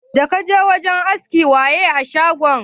Da kaje shagon askin waye a shagon?